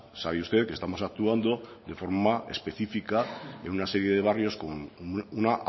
sabe usted que estamos actuando de forma específica en una serie de barrios con una